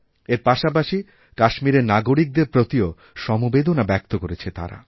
এর পাশাপাশি কাশ্মীরেরনাগরিকদের প্রতিও সমবেদনা ব্যক্ত করেছে তারা